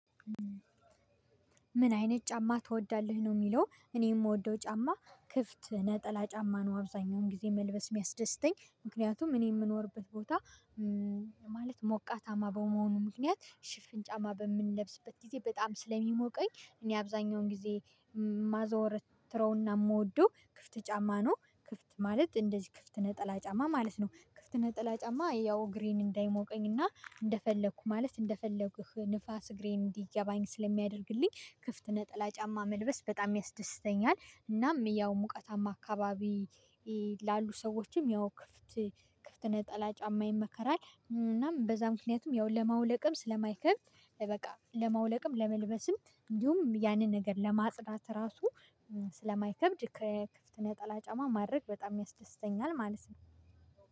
ምን አይነት ጫማ ትወዳለህ ነው? የሚለው እኔ የምወደው ጫማ ክፍት ነጠላ ጫማ ነው። አብዛኛውን ጊዜ መልበስ የሚያስደስተኝ ምክንያቱም እኔ የምኖርበት ቦታ ማለት ሞቃታማ በመሆኑ ምክንያት ሽፍን ጫማ በምንለብስበት ጊዜ በጣም ስለሚሞቀኝ እኔ አብዛኛውን ጊዜ ማዘወር ትረውና የምወደው ክፍት ጫማ ነው። ክፍት ማለት እንደዚህ ክፍት ነጠላ ጫማ ማለት ነው። ክፍት ነጠላ ጫማ ያው ግሬን እንዳይሞቀኝና እንደፈለኩ ማለት እንደፈለኩህ ንፋስ ግሬን እንዲገባኝ ስለሚያደርግልኝ ክፍት ነጠላ ጫማ መልበስ በጣም ያስደስተኛል። እናም ያው ሙቀታማ አካባቢ ላሉ ሰዎችም ያው ክፍት ክፍት ነጠላ ጫማ ይመከራል። እናም በዛ ምክንያቱም ያው ለማውለቅም ስለማይከብድ። በቃ ለማውለቅም ለመልበስም እንዲሁም ያንን ነገር ለማጽዳት ራሱ ስለማይከብድ ከክፍት ነጠላ ጫማ ማድረግ በጣም ያስደስተኛል ማለት ነው።